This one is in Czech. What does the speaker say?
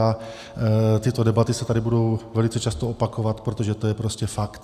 A tyto debaty se tady budou velice často opakovat, protože to je prostě fakt.